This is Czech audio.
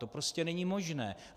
To prostě není možné.